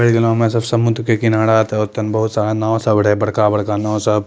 एही जनो उमें सब समुद्र के किनारा त ओतन बहुत सारा नाव सब रहे बड़का-बड़का नाव सब।